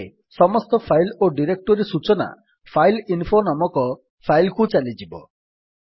ଏବେ ସମସ୍ତ ଫାଇଲ୍ ଓ ଡିରେକ୍ଟୋରୀ ସୂଚନା ଫାଇଲଇନଫୋ ନାମକ ଫାଇଲ୍ କୁ ଚାଲିଯିବ